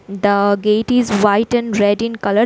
The gate is white and red in colour.